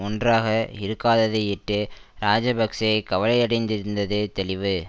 ஒன்றாக இருக்காததையிட்டு இராஜபக்ஷ கவலையடைந்திருந்தது தெளிவு